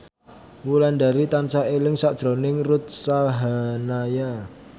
Wulandari tansah eling sakjroning Ruth Sahanaya